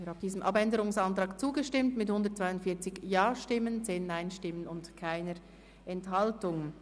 Sie haben dem Abänderungsantrag zugestimmt mit 142 Ja- gegen 10 Nein-Stimmen bei 0 Enthaltungen.